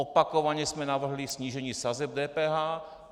Opakovaně jsme navrhli snížení sazeb DPH.